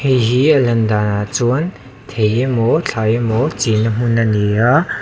hei hi a lan danah chuan thei emaw thlai emaw chinna hmun a ni a--